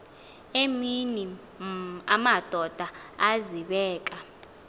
emini amadoda azibeka